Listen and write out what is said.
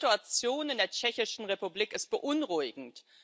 Die Situation in der Tschechischen Republik ist beunruhigend.